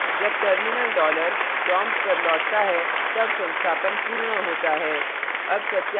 जब terminal dollar prompt पर लौटता तब संस्थापन पूर्ण होता है